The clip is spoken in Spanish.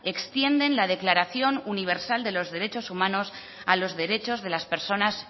extienden la declaración universal de los derechos humanos a los derechos de las personas